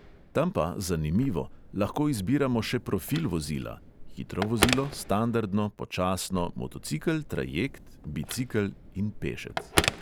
Tam pa, zanimivo, lahko izbiramo še profil vozila (hitro vozilo, standardno, počasno, motocikel, trajekt, bicikel in pešec).